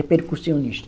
É percussionista.